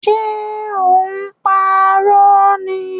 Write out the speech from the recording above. Ṣe ò ń parọ́ ni?